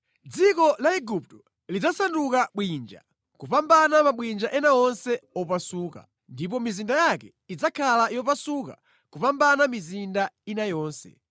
“ ‘Dziko la Igupto lidzasanduka bwinja kupambana mabwinja ena onse opasuka, ndipo mizinda yake idzakhala yopasuka kupambana mizinda ina yonse.